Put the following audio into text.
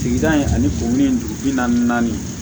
Sigida in ani kurun in dugu bi na naani